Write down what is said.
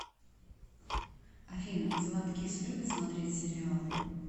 афина златкис любит смотреть сериалы